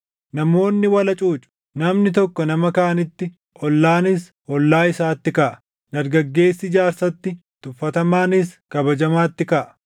Namoonni wal hacuucu; namni tokko nama kaanitti, ollaanis, ollaa isaatti kaʼa. Dargaggeessi jaarsatti, tuffatamaanis kabajamaatti kaʼa.